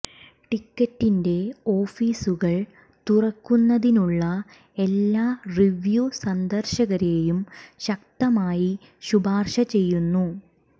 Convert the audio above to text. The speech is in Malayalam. ടിക്കറ്റിന്റെ ഓഫീസുകൾ തുറക്കുന്നതിനുള്ള എല്ലാ റിവ്യു സന്ദർശകരെയും ശക്തമായി ശുപാർശ ചെയ്യുന്നു